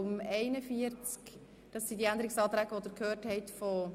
Es liegen die Änderungsanträge in der Version 3 vor.